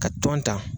Ka tɔn ta